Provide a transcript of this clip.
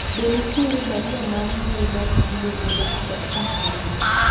be nitiere barua mar mbui mar email e dakika abich mogik